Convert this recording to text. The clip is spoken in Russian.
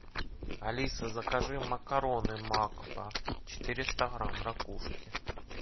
алиса закажи макароны макфа четыреста грамм ракушки